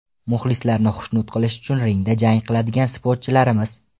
Muxlislarni xushnud qilish uchun ringda jang qiladigan sportchilarmiz.